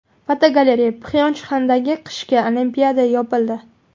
Fotogalereya: Pxyonchxandagi qishki Olimpiada yopildi .